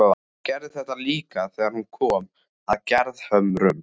Hún gerði þetta líka þegar hún kom að Gerðhömrum.